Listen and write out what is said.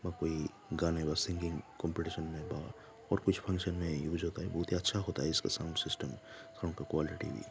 और कोई गाने व सिंगिंग कम्पटीशन और कुछ फंक्शन मे बहुत ही अच्छा होता है इसका साउंड सिस्टम साउंड का क्वालिटी --